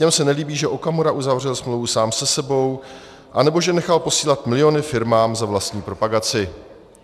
Těm se nelíbí, že Okamura uzavřel smlouvu sám se sebou anebo že nechal posílat miliony firmám za vlastní propagaci."